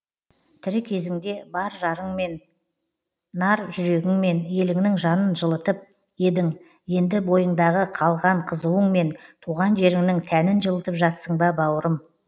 тірі кезіңде бар жырыңмен нар жүрегіңмен еліңнің жанын жылытып едің енді бойыңдағы қалған қызуыңмен туған жеріңнің тәнін жылытып жатсың ба бауырым